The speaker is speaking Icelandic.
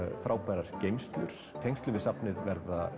frábærar geymslur í tengslum við safnið verða